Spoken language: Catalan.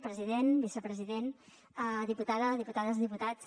president vicepresident diputada diputades i diputats